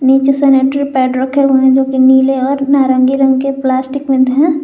नीचे sanitary pad रखे हुए हैं जो कि नीले और नारंगी रंग के प्लास्टिक में है।